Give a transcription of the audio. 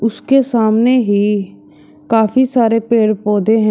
उसके सामने ही काफी सारे पेड़ पौधे हैं।